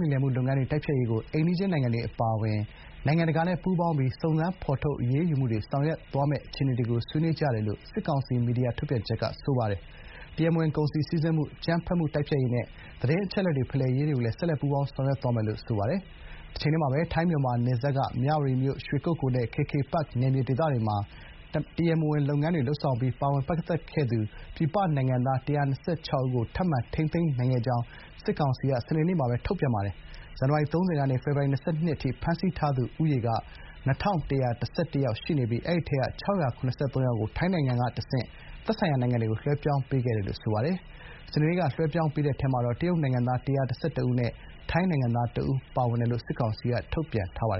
လိမ်လည်မှု လုပ်ငန်းတွေ တိုက်ဖျက်ရေးကို အိမ်နီးချင်း နိုင်ငံတွေ အပါအဝင် နိုင်ငံတကာနဲ့ ပူးပေါင်းပြီး စုံစမ်း ဖော်ထုတ် အရေးယူမှုတွေ ဆောင်ရွက်သွားမယ့် အခြေအနေတွေကို ဆွေးနွေးကြတယ်လို့ စစ်ကောင်စီ မီဒီယာ ထုတ်ပြန်ချက်မှာ ဖော်ပြပါတယ်။ တရားမဝင် ကုန်စည် စီဆင်းမှု၊ အကြမ်းဖက်မှု တိုက်ဖျက်ရေးနဲ့ သတင်း အချက်အလက်တွေ ဖလှယ်ရေးတွေကိုလည်း ဆက်လက် ပူးပေါင်းဆောင်ရွက်မယ်လို့ ထုတ်ပြန်ပါတယ်။ တချိန်တည်းမှာပဲ ထိုင်း-မြန်မာ နယ်စပ်က မြဝတီမြို့ ရွှေကုက္ကို နဲ့ KK Park နယ်မြေတွေက တရားမဝင် လောင်းကစားနဲ့ လိမ်လည်မှု လုပ်ငန်းတွေမှာ ပါဝင်ပတ်သက်ခဲ့သူ ပြည်ပနိုင်ငံသား ၁၂၆ ဦးကို ထပ်မံ ထိန်းသိမ်းနိုင်ခဲ့ကြောင်း စစ်ကောင်စီက ဖေဖော်ဝါရီ ၂၂ ရက် (စနေနေ့) မှာပဲ ထုတ်ပြန်ပါတယ်။ ဇန်နဝါရီ ၃၀ ရက် ကနေ ဖေဖော်ဝါရီ ၂၂ ရက်နေ့အထိ ဖမ်းဆီးထားသူ ဦးရေက ၂,၁၁၁ ရှိနေပြီး အဲဒီထဲက ၆၇၃ ဦးကို ထိုင်းနိုင်ငံကနေ တဆင့် သက်ဆိုင်ရာ နိုင်ငံတွေကို လွှဲပြောင်းပေးခဲ့တယ်လို့ ဆိုပါတယ်။ စနေနေ့က လွှဲပြောင်းပေးတဲ့ထဲမှာတော့ တရုတ်နိုင်ငံသား ၁၁၁ ဦးနဲ့ ထိုင်း နိုင်ငံသား ၁ ဦး ပါဝင်တယ်လို့ စစ်ကောင်စီ သတင်းပြန်ကြားရေးက ထုတ်ပြန်ပါတ